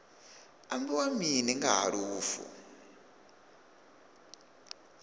ambiwa mini nga ha lufu